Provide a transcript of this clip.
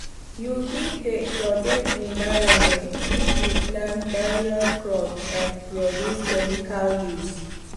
you fit dey protect environment if you plant various crop and reduce chemical use